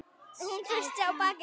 Hún treysti á bak sitt.